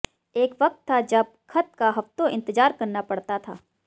एक वक्त था जब खत का हफ्तों इंतज़ार करना पड़ता था